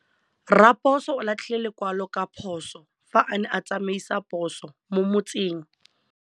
Raposo o latlhie lekwalô ka phosô fa a ne a tsamaisa poso mo motseng.